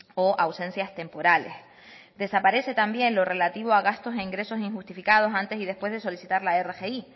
o ausencias temporales desaparece también lo relativo a gastos e ingresos injustificados antes y después de solicitar la rgi